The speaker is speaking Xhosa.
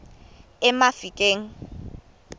emafikeng